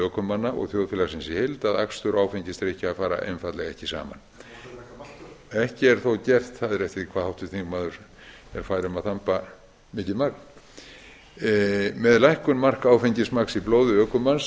ökumanna og þjóðfélagsins í heild að akstur og áfengisdrykkja fer einfaldlega ekki saman en má þá drekka maltöl það fer eftir því hvað háttvirtur þingmaður er fær um að þamba mikið magn ekki